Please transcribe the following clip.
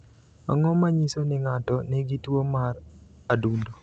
Ang’o ma nyiso ni ng’ato nigi tuwo mar adundo?